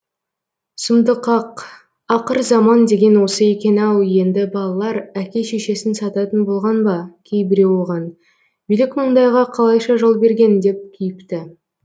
сұмдық ақ ақырзаман деген осы екен ау енді балалар әке шешесін сататын болған ба кейбіреу оған билік мұндайға қалайша жол берген деп кейіпті